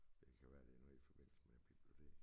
Det kan være det noget i forbindelse med æ bibliotek